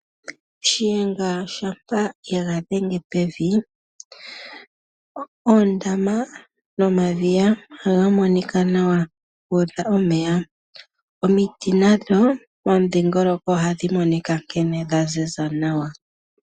Shiyenga shampa yega dhenge pevi oondama nomadhiya ohaga monika nawa guudha omeya. Omiti nadho pomudhingoloko ohadhi monika nkene dha ziza nawa.